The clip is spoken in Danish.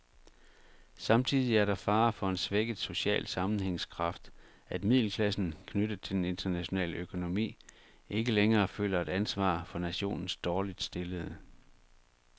Samtidig er der fare for en svækket social sammenhængskraft, at middelklassen, knyttet til den internationale økonomi, ikke længere føler et ansvar for nationens dårligt stillede.